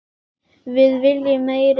Við viljum meiri dögg!